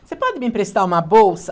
Você pode me emprestar uma bolsa?